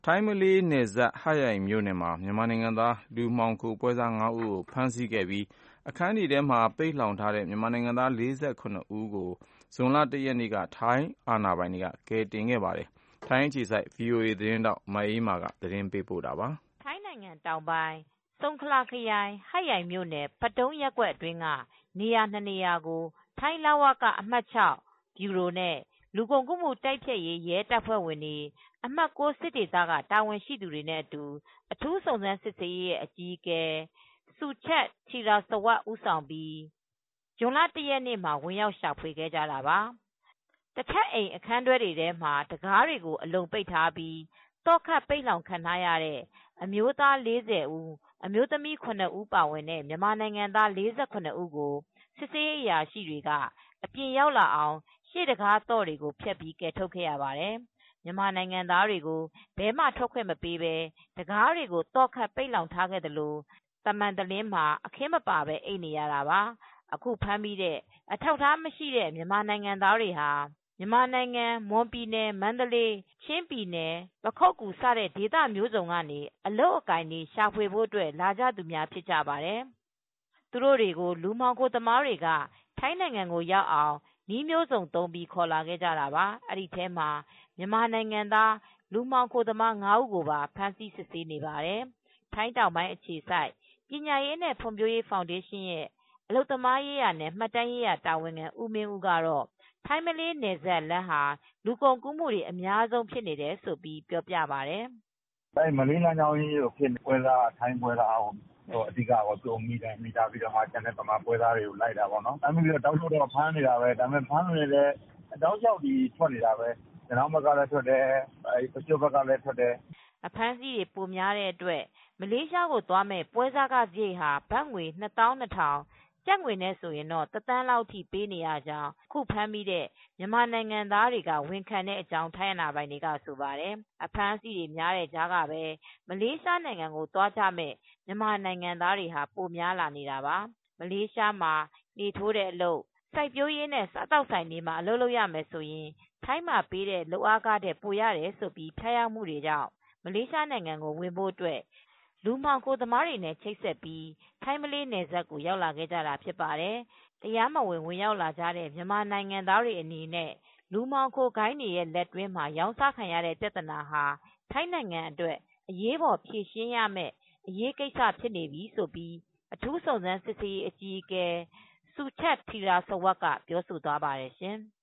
ိုင်းမလေးနယ်စပ် ဟတ်ရိုင်မြို့နယ်ထဲမှာ မြန်မာနိုင်ငံသား လူမှောင်ခိုပွဲစား ဦးကို ဖမ်းဆီးခဲ့ပြီး အခန်းများမှာ ပိတ်လှောင်ထားတဲ့ မြန်မာနိုင်ငံသား ၄၇ ဦးကို ဇွန်လ ၁ ရက်နေ့က ထိုင်းအာဏာပိုင်က ကယ်ဆယ်ခဲ့ပါတယ်။ မအေးမာက သတင်းပေးပို့ထားပါတယ်။ ထိုင်းတောင်ပိုင်း စုန်ခလာ ခရိုင် ဟတ်ယိုင်မြို့နယ် ပတုန်းရပ်ကွက်အတွင်းက နေရာ ၂ နေရာကို ထိုင်း လဝက အမှတ် ဗျူရို-လူကုန်ကူးတိုက်ဖျက်ရေးနဲ့ အမှတ် စစ်ဒေသ တာဝန်ရှိသူတွေနဲ့အတူ အထူးစုံစမ်းစစ်ဆေးရေး ရဲ အကြီးအကဲ Suchat Theerasawat ဦးဆောင်ပြီး ဇွန်လ ၁ရက်နေ့မှာ ဝင်ရောက်ရှာဖွေခဲ့ကြတာပါ။ တထပ် အိမ် အခန်းတွဲတွေထဲမှာ တခါးတွေအလုံပိတ်ပြီး သော့ခတ်ပိတ်လှောင်ခံထားရတဲ့ (အမျိုးသား ၄၀ အမျိုးသမီး ၇ ဦး) ပါဝင်တဲ့ မြန်မာနိုင်ငံသား ၄၇ ဦးကို စစ်ဆေးရေးအရာရှိတွေက အပြင်ရောက်လာအောင် ရှေ့တံခါးသော့တွေဖျက်ပြီး ကယ်ထုတ်ခဲ့ရပါတယ်။ မြန်မာနိုင်ငံသားတွေကို ဘယ်မှ ထွက်ခွင့်မပေးပဲ တံခါးသော့ခတ် ပိတ်လှောင်ထားသလို တမံတလင်းမှာ အခင်းမပါ အိပ်နေရတာပါ။ အခုဖမ်းမိတဲ့ အထာက်အထားမရှိ မြန်မာနိုင်ငံသားတွေဟာ မြန်မာနိုင်ငံ မွန်ပြည်နယ် မန္တလေး-ချင်း-ပခုက္ကူစတဲ့ ဒေသမျိုးစုံကနေ အလုပ်အကိုင် ရှာဖွေဖို့လာကြသူတွေကို လူမှောင်ခိုသမားတွေက ထိုင်းနိုင်ငံရောက်အောင် နည်းမျိုးစုံသုံးပြီး ခေါ်လာခဲ့ကြတာပါ။ ဒီထဲမှာ မြန်မာနိုင်ငံသား လူမှောင်ခိုသမား ဦးကိုပါ ဖမ်းဆီး စစ်ဆေးနေပါတယ်။ ထိုင်းတောင်ပိုင်း အခြေစိုက်ပညာရေးနဲ့ ဖွံဖြိုးရေးဖောင်ဒေးရှင်းက အလုပ်သမားနဲ့ မှတ်တမ်းရေးရာ တာဝန်ခံဦးမင်းဦးကတော့ ထိုင်း မလေး နယ်စပ်လမ်း လူကုန်ကူးမှုတွေ အများဆုံးဖြစ်နေတယ်လို့ ပြောပြပါတယ်။ "မလေးလမ်းကြောင်းကြီးကိုဖြစ်နေတာ ထိုင်းပွဲစားကိုဖမ်းမိပြီးမှ မြန်မာပွဲစားတွေကို ဖမ်းမိတာပေါ့နော်။ ဖမ်းနေပေမဲ့လည်း တောက်လျှောက်ကြီးကို ထွက်နေတယ် ရနောင်းဘက်ကလည်းထွက်တယ်။ ပကျွတ်ဘက်ကလည်း ထွက်နေတယ်။" အဖမ်းအဆီးတွေ ပိုများလို့ မလေးသွားမယ့် ပွဲစားခစားရိတ်ဟာ ဘတ်ငွေ ၂၂,၀၀၀ အထိ ပေးရကြောင်း အခုဖမ်းမိထားတဲ့ မြန်မာနိုင်ငံသားတွေက ဝန်ခံထွက်ဆိုတယ်လို့ ထိုင်းအာဏာပိုင်တွေက ဆိုပါတယ်။ အဖမ်းအဆီးတွေ များနေတဲ့ကြားက မလေးရှားသွားကြမဲ့ မြန်မာနိုင်ငံသားတွေဟာ ပိုများလာနေတာပါ။ မလေးရှားမှာ လှေထိုးသားအလုပ်-စိုက်ပျိုးရေးနဲ့ စားသောက်ဆိုင်တွေမှာ အလုပ်ရမယ်ဆိုရင် ထိုင်းမှာ ပေးတဲ့ လုပ်ခထက် ပိုရတယ်လို့ ဖျားယောင်းမူတွေကြောင့် မလေးရှားနိုင်ငံကို ဝင်ဖို့အတွက် လူမှောင်ခိုသမားတွေနဲ့ ချိတ်ဆက်ပြီး ထိုင်းမလေးနယ်စပ်ကို ရောက်လာခဲ့ကြတာ ဖြစ်ပါတယ်။ တရားမဝင် ဝင်ရောက်လာနေကြတဲ့ မြန်မာနိုင်ငံသားတွေအနေနဲ့ လူမှောင်ခိုဂိုဏ်းတွေရဲ့ လက်တွင်းမှာ ရောင်းစားခံရတဲ့ ပြဿနာဟာ ထိုင်းနိုင်ငံ အတွက် အရေးပေါ်ဖြေရှင်းရမယ့် အရေးကိစ္စဖြစ်နေပြီလို့ အထူးစုံးစမ်းစစ်ဆေးရေးအကြီးအကဲ Suchat Theerasawat က ပြောဆိုသွားပါတယ် ရှင်။